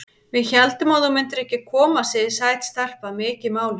Við héldum að þú myndir ekki koma, segir sæt stelpa, mikið máluð.